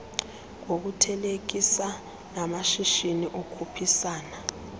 ngokuthelekisa namashishi okhuphisana